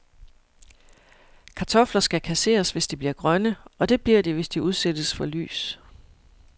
Kartofler skal kasseres, hvis de bliver grønne, og det bliver de, hvis de udsættes for lys.